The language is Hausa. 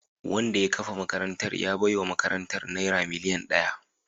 Wanda ya kafa makarantar ya baiwa makarantar naira miliyan daya